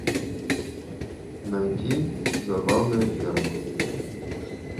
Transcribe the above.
найти забавная ферма